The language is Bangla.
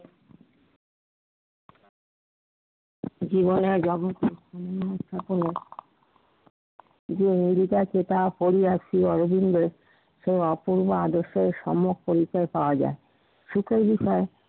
জীবনের রহস্য এখনো যে অঙ্গীকার কিতাব পড়িয়া শ্রী অরবিন্দের ও অক্ষুন্ন আদর্শ সম্যক পরিচয় পাওয়া যায়। শিখার বিষয়